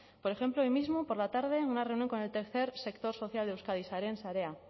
por ejemplo hoy mismo por la tarde una reunión con el tercer sector social de euskadi sareen sarea